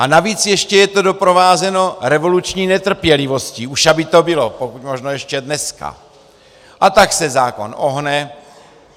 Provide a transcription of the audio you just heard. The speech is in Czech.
A navíc ještě je to doprovázeno revoluční netrpělivostí, už aby to bylo, pokud možno ještě dneska, a tak se zákon ohne.